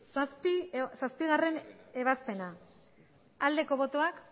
zazpigarrena ebazpena aldeko botoak